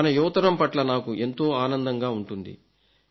మన యువతరం పట్ల నాకు ఎంతో ఆనందంగా ఉంటుంది